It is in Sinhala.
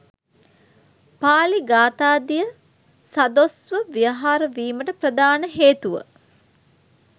පාලි ගාථාදිය සදොස් ව ව්‍යවහාර වීමට ප්‍රධාන හේතුව